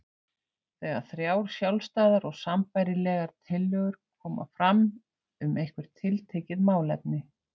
þegar þrjár sjálfstæðar og sambærilegar tillögur koma fram um eitthvert tiltekið málefni.